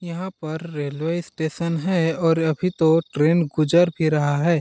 यहाँ पर railway station है और अभी तो ट्रेन गुज़र भी रहा है।